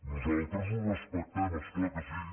nosaltres ho respectem és clar que sí